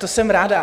To jsem ráda.